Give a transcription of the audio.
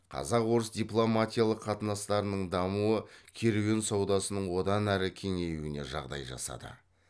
қазақ орыс дипломатиялық қатынастарының дамуы керуен саудасының одан әрі кеңеюіне жағдай жасады